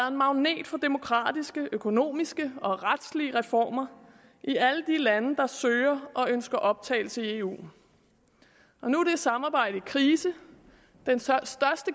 en magnet for demokratiske økonomiske og retslige reformer i alle de lande der søger og ønsker optagelse i eu og nu er det samarbejde i krise den største